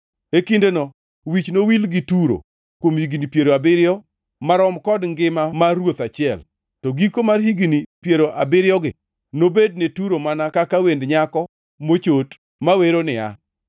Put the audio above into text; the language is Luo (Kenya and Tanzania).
E kindeno wich nowil gi Turo kuom higni piero abiriyo, marom kod ngima mar ruoth achiel, to giko mar higni piero abiriyogi, nobed ne Turo mana kaka wend nyako mochot mawero niya: